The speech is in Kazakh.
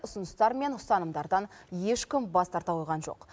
ұсыныстар мен ұстанымдардан ешкім бас тарта қойған жоқ